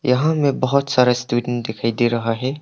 यहां में बहुत सारा स्टूडेंट दिखाई दे रहा है।